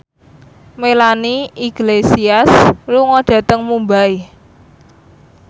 Melanie Iglesias lunga dhateng Mumbai